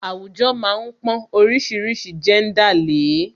Àwùjọ má ń pọn oríṣiríṣi jẹ́ńdà lè é